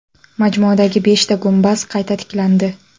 Majmuadagi beshta gumbaz qayta tiklandi.